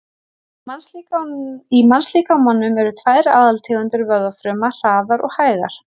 Í mannslíkamanum eru tvær aðaltegundir vöðvafruma, hraðar og hægar.